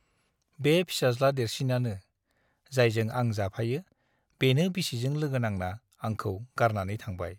बे फिसाज्ला देरसिनानो , जायजों आं जाफायो बेनो बिसिजों लोगो नांना आंखौ गारनानै थांबाय ।